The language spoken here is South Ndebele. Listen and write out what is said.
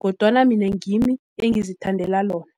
kodwana mina ngimi engizithandela lona.